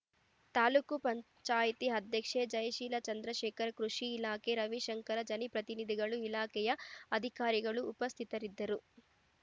ತಾಲೂಕು ಪಂಚಾಯಿತಿ ಅಧ್ಯಕ್ಷೆ ಜಯಶೀಲ ಚಂದ್ರಶೇಖರ್‌ ಕೃಷಿ ಇಲಾಖೆಯ ರವಿಶಂಕರ್‌ ಜನಿಪ್ರತಿನಿಧಿಗಳು ಇಲಾಖೆಯ ಅಧಿಕಾರಿಗಳು ಉಪಸ್ಥಿತರಿದ್ದರು